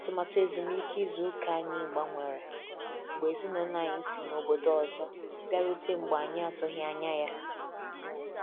Atụmatụ ezumike ịzụ ụka anyị gbanwere, mgbe ezinaụlọ anyị si n'ọbọdọ ọzọ bịarute mgbe anyị atughi anya.